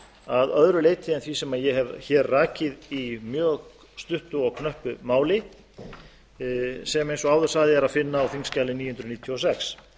að öðru leyti en því sem ég hef hér rakið í mjög stuttu og knöppu máli sem eins og áður sagði er að finna á þingskjali níu hundruð níutíu og sex ég